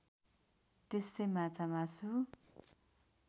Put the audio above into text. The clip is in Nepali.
त्यस्तै माछामासु